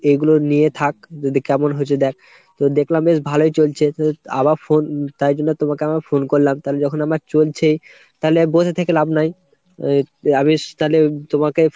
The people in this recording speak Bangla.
এইগুলো নিয়ে থাক যদি কেমন হয়েছে দ্যাখ। তো দেখলাম বেশ ভালোই চলছে। আবার phone তাই জন্য তোমাকে আমি phone করলাম তালে যখন আমার চলছেই তালে বসে থেকে লাভ নাই। তালে তোমাকে